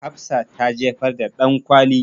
Hafsa ta jefar da ɗankwali.